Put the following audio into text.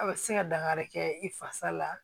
A bɛ se ka dankari kɛ i fasa la